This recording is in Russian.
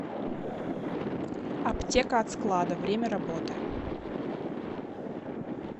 аптека от склада время работы